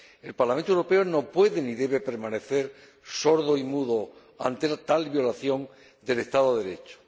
El Parlamento Europeo no puede ni debe permanecer sordo y mudo ante tal violación del Estado de Derecho.